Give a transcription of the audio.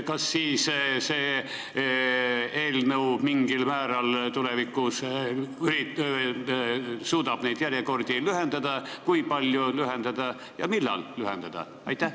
Kas see eelnõu suudab mingil määral tulevikus neid järjekordi lühendada, kui palju lühendada ja millal lühendada?